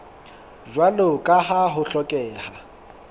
jwalo ka ha ho hlokeha